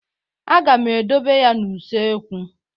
Aga m edobe ya n'usekwu.